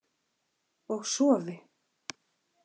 Og sofi.